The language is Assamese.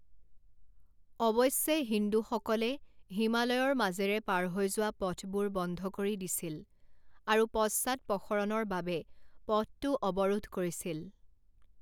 অৱশ্যে, হিন্দুসকলে হিমালয়ৰ মাজেৰে পাৰ হৈ যোৱা পথবোৰ বন্ধ কৰি দিছিল আৰু পশ্চাদপসৰণৰ বাবে পথটো অৱৰোধ কৰিছিল।